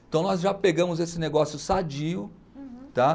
Então nós já pegamos esse negócio sadio. Uhum. Tá?